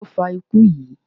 Kí ni ó ń fa ikú yí?